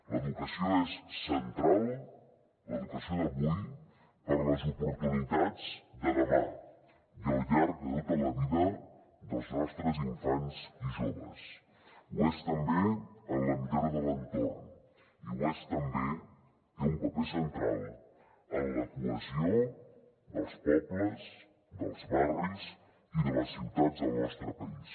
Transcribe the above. l’educació és central l’educació d’avui per a les oportunitats de demà i al llarg de tota la vida dels nostres infants i joves ho és també en la millora de l’entorn i ho és també hi té un paper central en la cohesió dels pobles dels barris i de les ciutats del nostre país